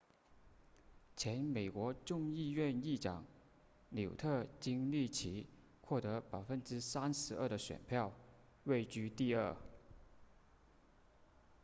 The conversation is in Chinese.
前美国众议院议长纽特金里奇获得 32% 的选票位居第二